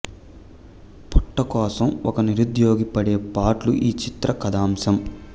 పొట్ట కోసం ఒక నిరుద్యోగి పడే పాట్లు ఈ చిత్ర కథాంశం